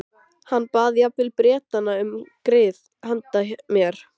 Hann bað jafnvel Bretana um grið handa mér.